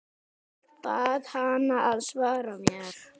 Bað hana að svara mér.